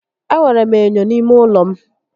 E nwèrè m ènyò n'ímé ụlọ m